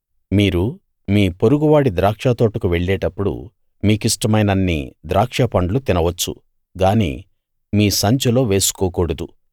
మీరు మీ పొరుగువాడి ద్రాక్షతోటకు వెళ్ళేటప్పుడు మీ కిష్టమైనన్ని ద్రాక్షపండ్లు తినవచ్చు గానీ మీ సంచిలో వేసుకోకూడదు